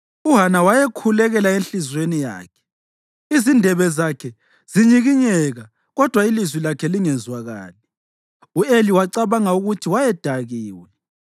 UHana wayekhulekela enhliziyweni yakhe, izindebe zakhe zinyikinyeka kodwa ilizwi lakhe lingezwakali. U-Eli wacabanga ukuthi wayedakiwe,